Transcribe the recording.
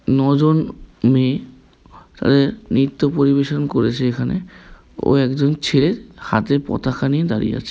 নয় জন মেয়ে নৃত্য পরিবেশন করেছেন এখানে ও একজন ছেয়ে হাতে পতাকা নিয়ে দাঁড়িয়ে আছে।